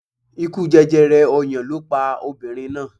Ikú jẹjẹrẹ ọyàn ló pa obìnrin náà.